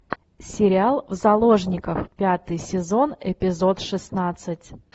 сериал в заложниках пятый сезон эпизод шестнадцать